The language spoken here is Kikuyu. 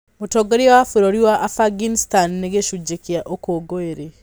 Mũtongoria wa bũrũri wa Afghanistan nĩ gĩcunjĩ kĩa ũkũngũĩri.